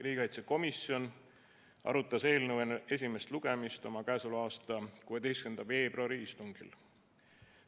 Riigikaitsekomisjon arutas eelnõu enne esimest lugemist oma k.a 16. veebruari istungil.